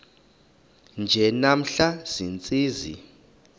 nje namhla ziintsizi